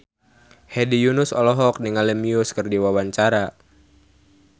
Hedi Yunus olohok ningali Muse keur diwawancara